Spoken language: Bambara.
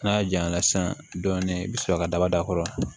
N'a jayan na sisan dɔɔnin i bɛ sɔrɔ ka daba da a kɔrɔ